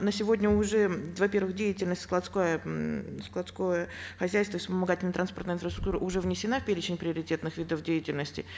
на сегодня уже во первых деятельность складская м складское хозяйство и вспомогательная транспортная инфраструктура уже внесена в перечень приоритетных видов деятельности